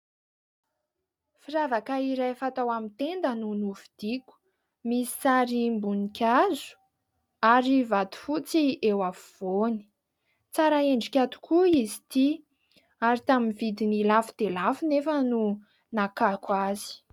Firavaka iray fatao amin'ny tenda no novidiako. Misy sarim-boninkazo ary vato fotsy eo afovoany. Tsara endrika tokoa izy ity ary tamin'ny vidiny lafo dia lafo nefa no nakako azy.